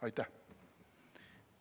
Aitäh!